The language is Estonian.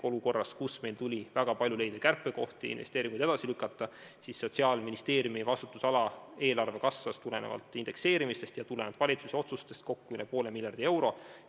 Olukorras, kus meil tuli väga palju leida kärpekohti ja investeeringuid edasi lükata, kasvas Sotsiaalministeeriumi vastutusala eelarve tulenevalt indekseerimistest ja tulenevalt valitsuse otsustest kokku üle poole miljardi euro.